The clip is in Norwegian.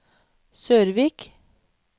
Sørvik